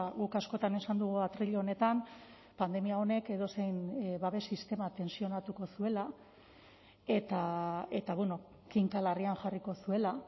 guk askotan esan dugu atril honetan pandemia honek edozein babes sistema tentsionatuko zuela eta kinka larrian jarriko zuela